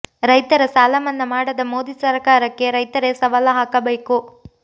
ರೈತರ ಸಾಲ ಮನ್ನಾ ಮಾಡದ ಮೋದಿ ಸರಕಾರಕ್ಕೆ ರೈತರೇ ಸವಾಲ್ ಹಾಕಗಬೇಕು